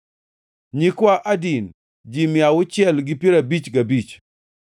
nyikwa Adin, ji mia auchiel gi piero abich gabich (655),